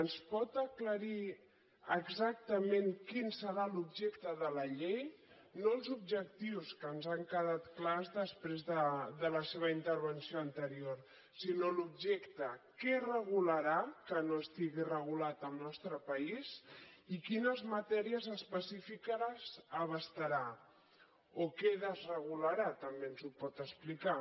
ens pot aclarir exactament quin serà l’objecte de la llei no els objectius que ens han quedat clars després de la seva intervenció anterior sinó l’objecte què regularà que no estigui regulat al nostre país i quines matèries específiques abastarà o què desregularà també ens ho pot explicar